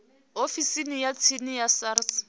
ofisini ya tsini ya sars